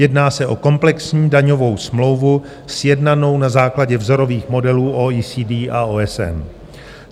Jedná se o komplexní daňovou smlouvu sjednanou na základě vzorových modelů OECD a OSN.